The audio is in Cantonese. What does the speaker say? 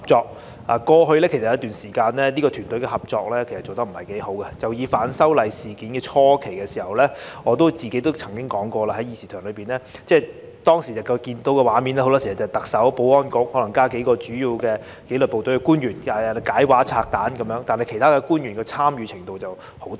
在過去一段時間裏，這個團隊的合作其實不太好，以反修例事件初期來說，我在這議事廳裏曾經說過，當時看到的畫面很多時是特首、保安局，加上數名主要負責紀律部隊的官員來解畫和拆彈，但其他官員的參與程度十分低。